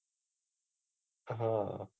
હા